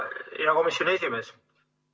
Hea komisjoni esimees!